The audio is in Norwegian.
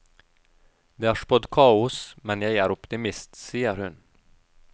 Det er spådd kaos, men jeg er optimist, sier hun.